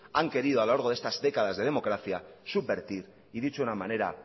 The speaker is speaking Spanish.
han querido a lo largo de estas décadas de democracia subvertir y dicho de una manera